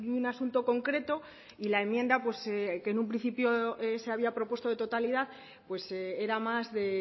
un asunto concreto y la enmienda que en un principio se había propuesto de totalidad era más de